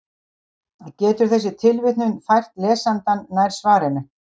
Getur þessi tilvitnun fært lesandann nær svarinu?